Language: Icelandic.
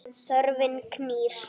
Þörfin knýr.